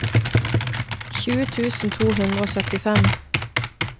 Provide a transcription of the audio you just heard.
tjue tusen to hundre og syttifem